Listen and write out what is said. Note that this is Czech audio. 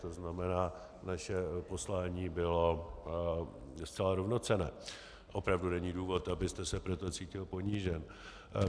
To znamená, naše poslání bylo zcela rovnocenné, opravdu není důvod, abyste se proto cítil ponížen.